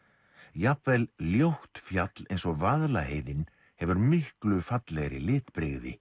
jafnvel ljótt fjall eins og Vaðlaheiðin hefir miklu fallegri litbrigði